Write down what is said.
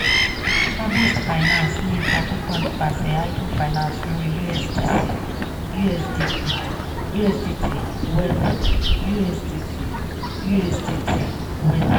harvest finance ní ipa púpọ̀ nípasẹ̀ idle finance lórí usdc usdt weth. usdc usdt weth.